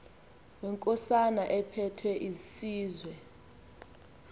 wenkosana ephethe isizwe